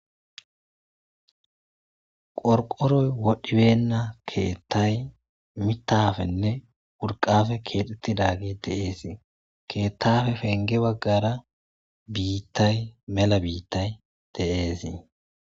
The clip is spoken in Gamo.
Qorqoroy wodhibenna keettay mitafenne wurqafe keexettidagi deeesii keettafe penge baggara biittay mela biittay de,eesii.